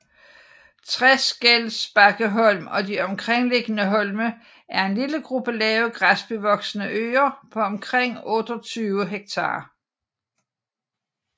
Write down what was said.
Treskelbakkeholm og de omliggende holme er en lille gruppe lave græsbevoksede øer på omkring 28 hektar